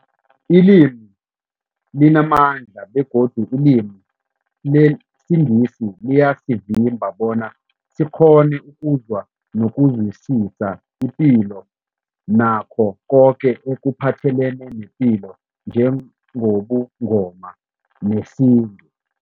Ilimi limamandla begodu ilimi lesiNgisi liyasivimba bona sikghone ukuzwa nokuzwisisa ipilo nakho koke ekuphathelene nepilo njengobuNgoma nesintu.